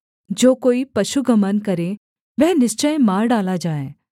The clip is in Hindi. जो कोई पशुगमन करे वह निश्चय मार डाला जाए